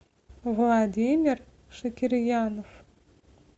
владимир шакирьянов